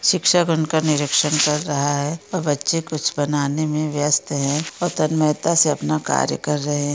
शिक्षक उनका निरिक्षण कर रहा है बच्चे कुछ बनाने मैं व्यस्त है और से अपना कार्य कर रहे है।